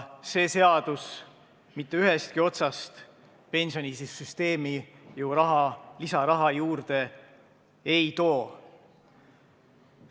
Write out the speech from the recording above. See seadus mitte ühestki otsast pensionisüsteemi lisaraha juurde ei too.